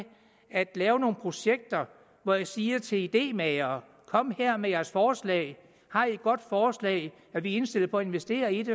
at lave nogle projekter hvor de siger til idemagere kom her med jeres forslag har i et godt forslag er vi indstillet på at investere i det